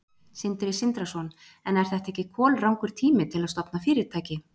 Sindri Sindrason: En er þetta ekki kolrangur tími til að stofna fyrirtæki?